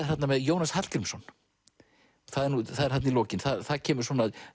þarna með Jónas Hallgrímsson það er þarna í lokin það kemur